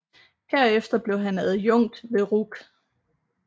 Herefter blev han adjukt ved RUC